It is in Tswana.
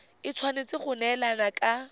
e tshwanetse go neelana ka